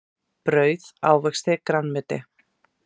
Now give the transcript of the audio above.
Brauð ávexti grænmeti.